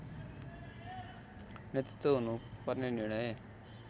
नेतृत्व हुनुपर्ने निर्णय